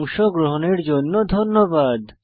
অংশগ্রহনের জন্য ধন্যবাদ